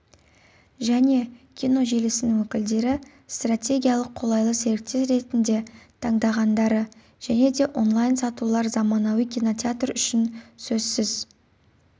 және киножелісінің өкілдері стратегиялық қолайлы серіктес ретінде таңдағандары және де онлайн-сатулар заманауи кинотеатр үшін сөзсіз